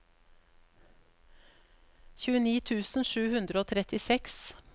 tjueni tusen sju hundre og trettiseks